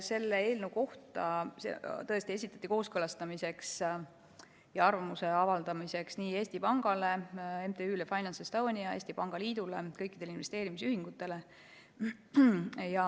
See eelnõu tõesti esitati kooskõlastamiseks ja arvamuse avaldamiseks Eesti Pangale, MTÜ-le FinanceEstonia, Eesti Pangaliidule ja kõikidele investeerimisühingutele.